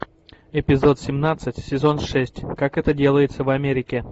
эпизод семнадцать сезон шесть как это делается в америке